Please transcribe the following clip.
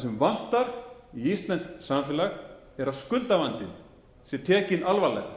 sem vantar í íslenskt samfélag er að skuldavandinn sé tekinn alvarlega